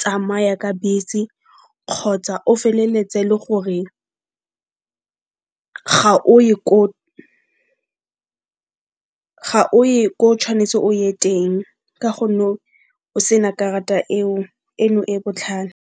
tsamaya ka bese kgotsa o feleletse e le gore ga o ye ko o tshwanetse o ye teng ka gonne o sena karata eo, eno e botlhale.